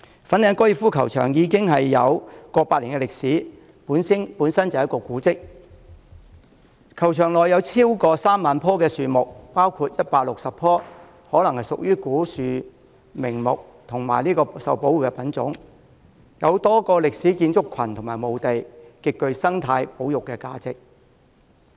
粉嶺高爾夫球場已有過百年歷史，本身就是古蹟；球場內有超過 30,000 棵樹木，包括160棵可能屬於古樹名木和受保護品種，有多個歷史建築群及墓地，極具生態保育價值。